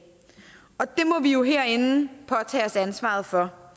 og det må vi jo herinde påtage os ansvaret for